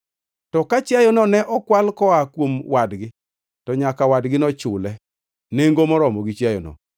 To ka chiayono ne okwal koa kuom wadgi, to nyaka wadgino chule nengo moromo gi chiayono.